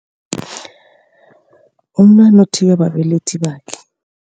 Umntwana uthiywa babelethi bakhe.